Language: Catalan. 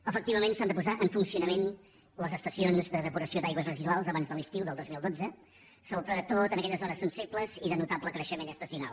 efectivament s’han de posar en funcionament les estacions de depuració d’aigües residuals abans de l’estiu del dos mil dotze sobretot en aquelles zones sensibles i de notable creixement estacional